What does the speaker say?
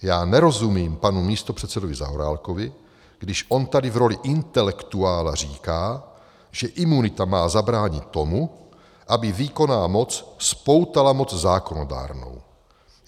Já nerozumím panu místopředsedovi Zaorálkovi, když on tady v roli intelektuála říká, že imunita má zabránit tomu, aby výkonná moc spoutala moc zákonodárnou.